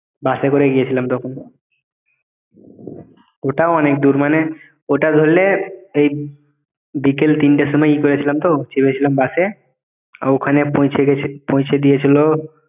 বাসে করে গিয়েছিলাম তখন ওটাও অনেক দূর মানে ওইটা ধরলে এই বিকেল তিনটের সময় ই করেছিলাম তো চেপেছিলাম বাসে ওখানে পৌঁছে গেছি পৌঁছে দিয়েছিল